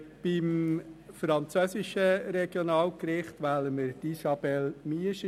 Für das französischsprachige Regionalgericht wählen wir Isabelle Miescher.